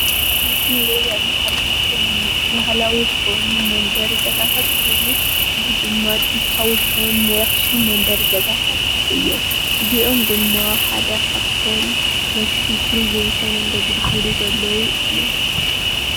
ምስሊ እንሪኦ ዘለና ካብቶም መሰሕብ ቱሪዝም ኾይኖም ዘገልግሉ እዮሞ።